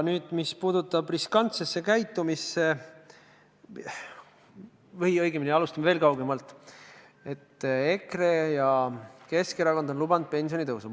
Nüüd, mis puudutab riskantset käitumist, siis alustame veel kaugemalt kui sellest, et EKRE ja Keskerakond on lubanud pensionitõusu.